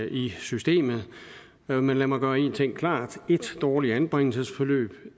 i systemet men lad mig gøre en ting klart et dårligt anbringelsesforløb